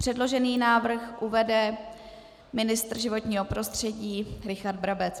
Předložený návrh uvede ministr životního prostředí Richard Brabec.